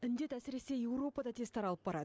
індет әсіресе еуропада тез таралып барады